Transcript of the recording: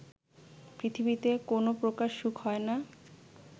পৃথিবীতে কোনো প্রকার সুখ হয় না